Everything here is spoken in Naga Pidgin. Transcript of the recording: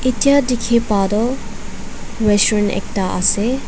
echiabteki ba toh restaurant ekta ase.